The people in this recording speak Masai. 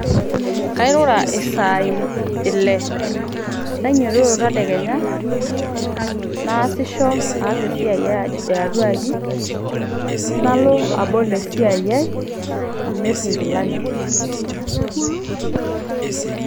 Kairura isaai ile nainyiototo tadekenya naasisho aas esiai ai ee atua aji abol esiai ai amirr nkilani.